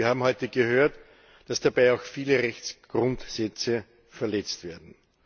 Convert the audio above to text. Wir haben heute gehört, dass dabei auch viele Rechtsgrundsätze verletzt werden.